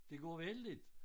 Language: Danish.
Det går vældigt